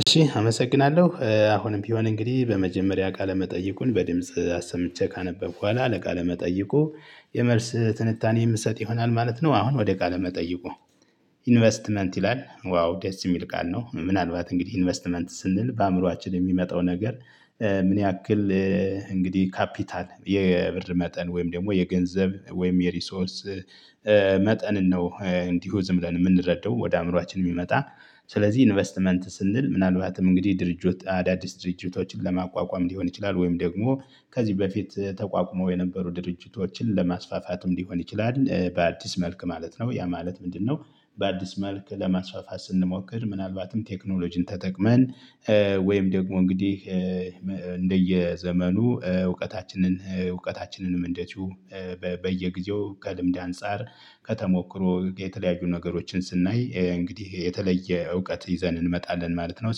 እሺ አመሰግናለሁ አሁንም ቢሆን እንግዲህ በመጀመሪያ ቃለ መጠይቁን በድምጽ አሰምቼ ካነበብኩ በኋላ ለቃለ መጠይቁ የመልስ ትንታኔ የምትሰጥ ይሆናል ማለት ነው። አሁን ወደ ቃለ መጠይቁ? ኢንቨስትመንት ይላል ዋው ደስ የሚል ቃል ነው። ምናልባት እንግዲህ ኢንቨስትመንት ስንል በአእምሮአችን የሚመጣው ነገር። ምን ያክል እንግዲህ ካፒታል የብር መጠን ወይም ደግሞ የገንዘብ ወይም የሪሶርስ መጠንን ነው። እንዲሁ ዝም ብለን የምንረዳው ወደ አእምሮአችን የሚመጣ። ስለዚህ ኢንቨስትመንት ስንል ምናልባትም እንግዲህ ድርጅት አዳዲስ ድርጅቶችን ለማቋቋም ሊሆን ይችላል ወይም ደግሞ ከዚህ በፊት ተቋቁሞ የነበሩ ድርጅቶችን ለማስፋፋትም ሊሆን ይችላል። በአዲስ መልክ ማለት ነው ያ ማለት ምንድነው? በአዲስ መልክ ለማስፋፋት ስንሞክር ምናልባትም ቴክኖሎጂን ተጠቅመን ወይም ደግሞ እንግዲህ እንደየዘመኑ እውቀታችንን እውቀታችንንም እንደዚሁ በየጊዜው ከልምድ አንፃር ከተሞክሮ የተለያዩ ነገሮችን ስናይ እንግዲህ የተለየ እውቀት ይዘን እንመጣለን ማለት ነው።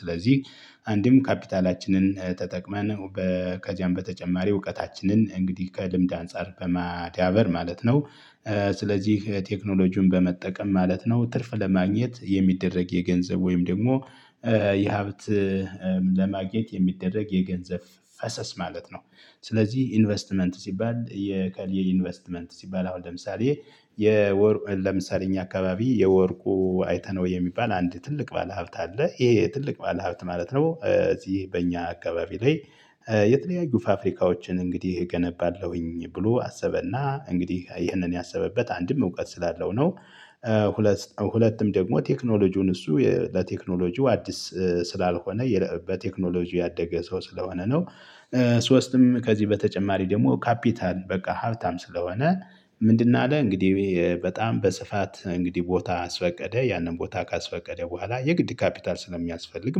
ስለዚህ አንድም ካፒታላችንን ተጠቅመን በከዛም በተጨማሪ እውቀታችንን እንግዲህ ከልምድ አንፃር በማዳበር ማለት ነው። ስለዚህ ቴክኖሎጂውን በመጠቀም ማለት ነው ትርፍ ለማግኘት የሚደረግ የገንዘብ ወይም ደግሞ የሀብት ለማግኘት የሚደረግ የገንዘብ ፈሰስ ማለት ነው። ስለዚህ ኢንቨስትመንት ሲባል የከሌ ኢንቨስትመንት ሲባል አሁን ለምሳሌ የወር ለምሳሌ እኛ አካባቢ የወርቁ አይተነው የሚባል አንድ ትልቅ ባለሀብት አለ። ይሄ ትልቅ ባለሀብት ማለት ነው። እዚህ በእኛ አካባቢ ላይ የተለያዩ ፋፍሪካዎችን እንግዲህ እገነባለሁኝ ብሎ አሰበና እንግዲህ ይህንን ያሰበበት አንድም እውቀት ስላለው ነው። ሁለት ሁለቱም ደግሞ ቴክኖሎጂውን እሱ ለቴክኖሎጂው አዲስ ስላልሆነ በቴክኖሎጂው ያደገ ሰው ስለሆነ ነው። ሶስትም ከዚህ በተጨማሪ ደግሞ ካፒታል በቃ ሀብታም ስለሆነ። ምንድነው? አለ እንግዲህ በጣም በስፋት እንግዲህ ቦታ አስፈቀደ ያንን ቦታ ካስፈቀደ በኋላ የግድ ካፒታል ስለሚያስፈልግ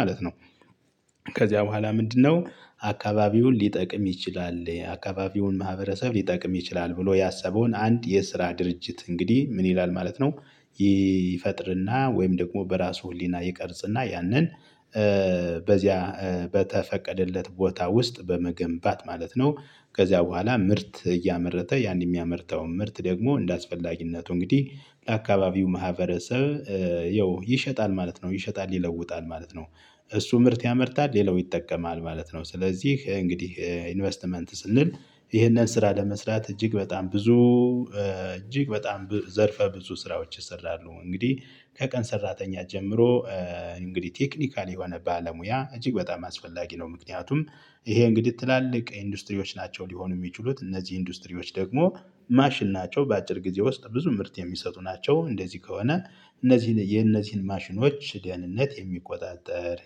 ማለት ነው። ከዚያ በኋላ ምንድነው? አካባቢውን ሊጠቅም ይችላል አካባቢውን ማህበረሰብ ሊጠቅም ይችላል ብሎ ያሰበውን አንድ የስራ ድርጅት እንግዲህ ምን ይላል ማለት ነው። ይፈጥርና ወይም ደግሞ በራሱ ህሊና ይቀርጽና ያንን በዚያ በተፈቀደለት ቦታ ውስጥ በመገንባት ማለት ነው። ከዚያ በኋላ ምርት እያመረተ ያን የሚያመርተውን ምርት ደግሞ እንደአስፈላጊነቱ እንግዲህ ለአካባቢው ማህበረሰብ ያው ይሸጣል ማለት ነው። ይሸጣል ይለውጣል ማለት ነው። እሱ ምርት ያመርታል ሌላው ይጠቀማል ማለት ነው። ስለዚህ እንግዲህ ኢንቨስትመንት ስንል ይህንን ስራ ለመስራት እጅግ በጣም ብዙ እጅግ በጣም ዘርፈ ብዙ ስራዎች ይሰራሉ። እንግዲህ ከቀን ሰራተኛ ጀምሮ እንግዲህ ቴክኒካል የሆነ ባለሙያ እጅግ በጣም አስፈላጊ ነው። ምክንያቱም ይሄ እንግዲህ ትላልቅ ኢንዱስትሪዎች ናቸው። ሊሆኑ የሚችሉት እነዚህ ኢንዱስትሪዎች ደግሞ ማሽን ናቸው በአጭር ጊዜ ውስጥ ብዙ ምርት የሚሰጡ ናቸው። እንደዚህ ከሆነ እነዚህን የነዚህን ማሽኖች ደህንነት የሚቆጣጠር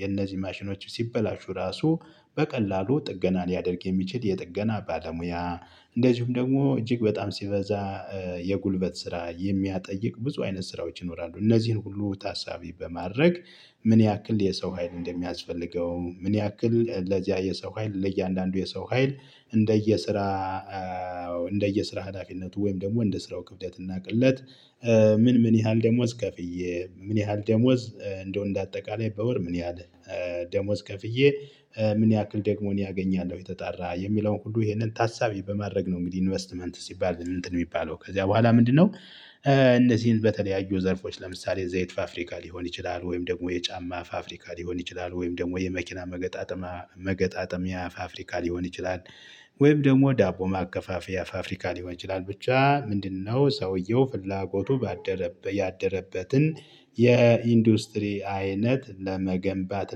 የነዚህን ማሽኖች ሲበላሹ ራሱ በቀላሉ ጥገና ሊያደርግ የሚችል የጥገና ባለሙያ። እንደዚሁም ደግሞ እጅግ በጣም ሲበዛ የጉልበት ስራ የሚያጠይቅ ብዙ አይነት ስራዎች ይኖራሉ። እነዚህን ሁሉ ታሳቢ በማድረግ ምን ያክል የሰው ሀይል እንደሚያስፈልገው? ምን ያክል ለዚያ የሰው ሀይል ለእያንዳንዱ የሰው ሀይል እንደየ ስራ። እንደየ ስራ ሀላፊነቱ ወይም ደግሞ እንደ ስራው ክፍደት እና ቅለት። ምን ምን ያህል ደሞዝ ከፍዬ ምን ያህል ደሞዝ እንደው እንደ አጠቃላይ በወር ምን ያህል ደሞዝ ከፍዬ ምን ያክል ደግሞ እኔ አገኛለሁ የተጣራ የሚለውን ሁሉ ይሄንን ታሳቢ በማድረግ ነው። እንግዲህ ኢንቨስትመንት ሲባል እንትን የሚባለው ከዚያ በኋላ ምንድነው? እነዚህን በተለያዩ ዘርፎች ለምሳሌ ዘይት ፋፍሪካ ሊሆን ይችላል ወይም ደግሞ የጫማ ፋፍሪካ ሊሆን ይችላል ወይም ደግሞ የመኪና መገጣጠም መገጣጠሚያ ፋፍሪካ ሊሆን ይችላል። ወይም ደግሞ ዳቦ ማከፋፈያ ፋፍሪካ ሊሆን ይችላል። ብቻ ምንድነው ሰውየው ፍላጎቱ ባደረበ ያደረበትን የኢንዱስትሪ አይነት ለመገንባት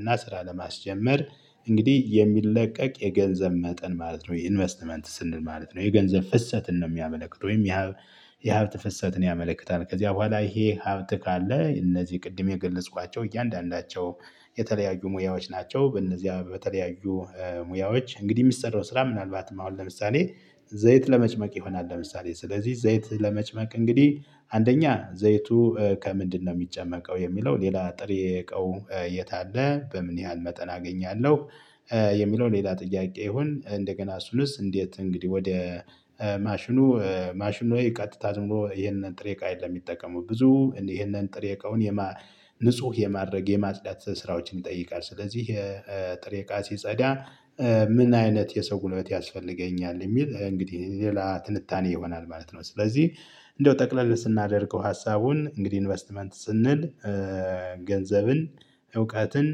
እና ስራ ለማስጀመር እንግዲህ የሚለቀቅ የገንዘብ መጠን ማለት ነው። ኢንቨስትመንት ስንል ማለት ነው። የገንዘብ ፍሰትን ነው የሚያመለክት ወይም የሀብት ፍሰትን ያመለክታል። ከዚያ በኋላ ይሄ ሀብት ካለ እነዚህ ቅድም የገለጽኳቸው እያንዳንዳቸው የተለያዩ ሙያዎች ናቸው። በእነዚያ በተለያዩ ሙያዎች እንግዲህ የሚሰራው ስራ ምናልባትም አሁን ለምሳሌ ዘይት ለመጭመቅ ይሆናል። ለምሳሌ ስለዚህ ዘይት ለመጭመቅ እንግዲህ አንደኛ ዘይቱ። ከምንድነው የሚጨመቀው? የሚለው ሌላ ጥሬ እቃው። የት አለ? በምን ያህል መጠን አገኛለሁ። የሚለው ሌላ ጥያቄ ይሁን? እንደገና እሱንስ እንዴት? እንግዲህ ወደ ማሽኑ ማሽኑ ላይ ቀጥታ ዝም ብሎ ይሄንን ጥሬ እቃ የለም። የሚጠቀሙ ብዙ ይሄንን ጥሬ እቃውን ንጹህ የማድረግ የማጽዳት ስራዎችን ይጠይቃል። ስለዚህ የጥሬቃ ሲጸዳ። ምን አይነት የሰው ጉልበት ያስፈልገኛል? የሚል እንግዲህ ሌላ ትንታኔ ይሆናል ማለት ነው። ስለዚህ እንደው ጠቅለል ስናደርገው ሀሳቡን እንግዲህ ኢንቨስትመንት ስንል። ገንዘብን እውቀትን